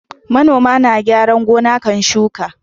Manoma na kyaran gona kafin shuka